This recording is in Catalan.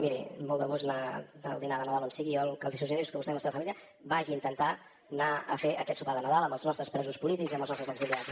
miri amb molt de gust anar al dinar de nadal d’on sigui jo el que li suggereixo és que vostè i la seva família vagin a intentar anar a fer aquest sopar de nadal amb els nostres presos polítics i amb els nostres exiliats